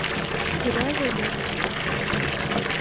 сережу лебедева